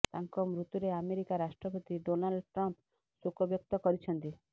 ତାଙ୍କ ମୃତ୍ୟୁରେ ଆମେରିକା ରାଷ୍ଟ୍ରପତି ଡୋନାଲ୍ଡ ଟ୍ରମ୍ପ ଶୋକ ବ୍ୟକ୍ତ କରିଛନ୍ତି